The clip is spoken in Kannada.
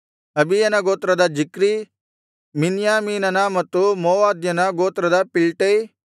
ಅಬೀಯನ ಗೋತ್ರದ ಜಿಕ್ರೀ ಮಿನ್ಯಾಮೀನನ ಮತ್ತು ಮೋವದ್ಯನ ಗೋತ್ರದ ಪಿಲ್ಟೈ